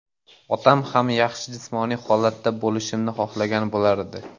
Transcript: Otam ham yaxshi jismoniy holatda bo‘lishimni xohlagan bo‘lardi.